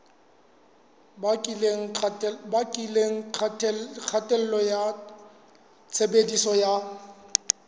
bakileng kgatello ya tshebediso ya